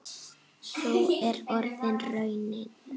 Sú er orðin raunin.